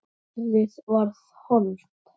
Orðið varð hold.